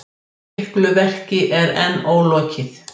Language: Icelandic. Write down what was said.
Miklu verki er enn ólokið